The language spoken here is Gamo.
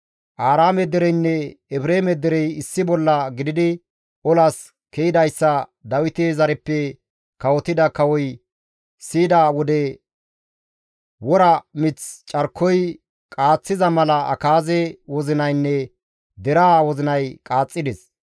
Aaraame dereynne Efreeme derey issi bolla gididi olas ke7idayssa Dawite zareppe kawotida kawoy siyida wode wora mith carkoy qaaththiza mala Akaaze wozinaynne deraa wozinay qaaxxides.